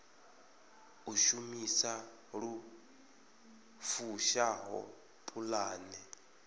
u shumisa lu fushaho pulane